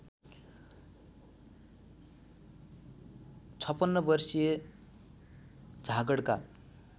५६ वर्षीय झाँगडका